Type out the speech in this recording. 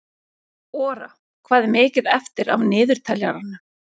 Ora, hvað er mikið eftir af niðurteljaranum?